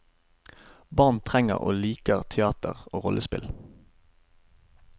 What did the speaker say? Barn trenger og liker teater og rollespill.